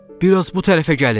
Bir az bu tərəfə gəlin.